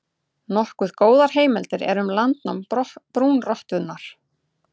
Nokkuð góðar heimildir eru um landnám brúnrottunnar.